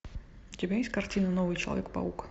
у тебя есть картина новый человек паук